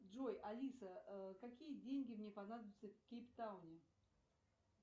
джой алиса какие деньги мне понадобятся в кейптауне